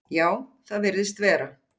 Já, það virðist vera.